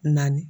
Naani